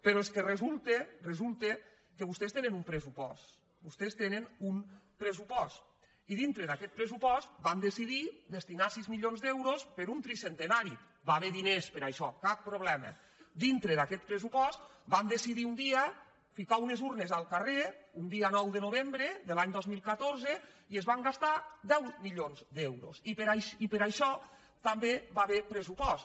però és que resulta resulta que vostès tenen un pressupost vostès tenen un pressupost i dintre d’aquest pressupost van decidir destinar sis milions d’euros per a un tricentenari va haver hi diners per a això cap problema dintre d’aquest pressupost van decidir un dia ficar unes urnes al carrer un dia nou de novembre de l’any dos mil catorze i es van gastar deu milions d’euros i per això també va haver hi pressupost